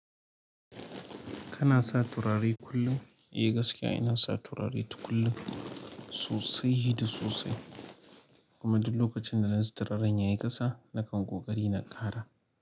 Kana sa turare kullum, eh gaskiya ina sa turare tukullum sosai da sosai. Kuma duk lokacin da zan sa turaren yayi ƙasa nakan ƙoƙari na ƙara.